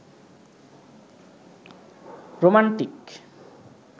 romantic